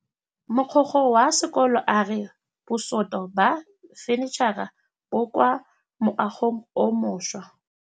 Mogokgo wa sekolo a re bosutô ba fanitšhara bo kwa moagong o mošwa.